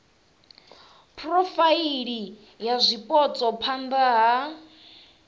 phurofaili ya zwipotso phana ha